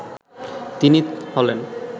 তিনি হলেন